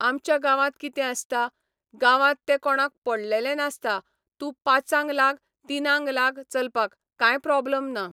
आमच्या गांवांत कितें आसता, गांवांत तें कोणाक पडलेलें नासता तूं पांचाक लाग तिनांक लाग चलपाक काय प्रोबलम ना.